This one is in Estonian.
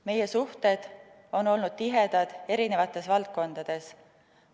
Meie suhted on olnud tihedad eri valdkondades.